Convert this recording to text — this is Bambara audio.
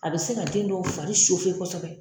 A bɛ se ka den dɔw fari kosɛbɛ.